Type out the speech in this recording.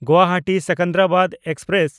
ᱜᱩᱣᱟᱦᱟᱴᱤ–ᱥᱮᱠᱮᱱᱫᱨᱟᱵᱟᱫᱽ express